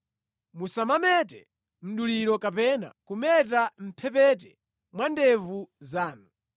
“ ‘Musamamete mduliro kapena kumeta mʼmphepete mwa ndevu zanu.